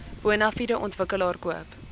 bonafide ontwikkelaar koop